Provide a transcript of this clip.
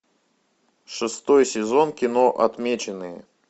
шестой сезон кино отмеченные